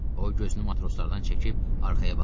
O gözünü matroslardan çəkib arxaya baxdı.